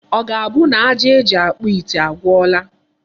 Ọ ga-abụ na aja eji akpụ ite agwụla?